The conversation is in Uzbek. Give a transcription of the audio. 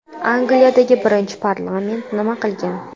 Angliyadagi birinchi parlament nima qilgan?